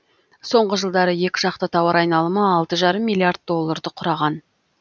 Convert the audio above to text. соңғы жылдары екіжақты тауар айналымы алты жарым миллиард долларды құраған